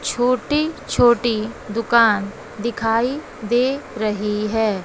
छोटी छोटी दुकान दिखाई दे रही है।